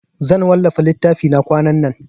Zan wallafa littafina kwanan nan.